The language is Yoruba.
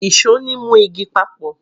ìṣó ni mu igi papọ